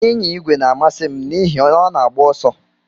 Ịnya igwe na-amasị m n'ihi na ọ na-agba ọsọ.